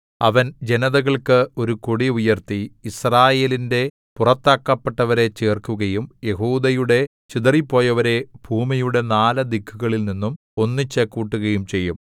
അവൻ ജനതകൾക്ക് ഒരു കൊടി ഉയർത്തി യിസ്രായേലിന്റെ പുറത്താക്കപ്പെട്ടവരെ ചേർക്കുകയും യെഹൂദായുടെ ചിതറിപ്പോയവരെ ഭൂമിയുടെ നാല് ദിക്കുകളിൽനിന്നും ഒന്നിച്ചുകൂട്ടുകയും ചെയ്യും